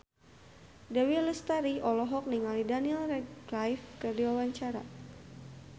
Dewi Lestari olohok ningali Daniel Radcliffe keur diwawancara